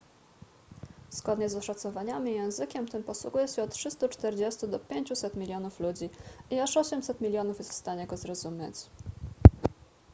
zgodnie z oszacowaniami językiem tym posługuje się od 340 do 500 milionów ludzi i aż 800 milionów jest w stanie go zrozumieć